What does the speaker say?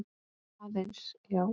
Aðeins, já.